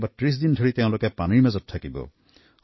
কেতিয়াবা একেৰাহে ৩০ দিন পানীৰ মাজতে কটাব